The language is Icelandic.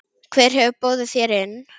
Hver hefur boðið þér inn?